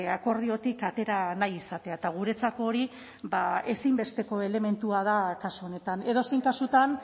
akordiotik atera nahi izatea eta guretzako hori ba ezinbesteko elementua da kasu honetan edozein kasutan